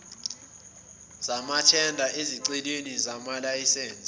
zamathenda ezicelweni zamalayisense